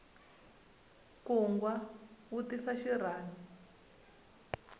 nkungwa wu tisa xirhami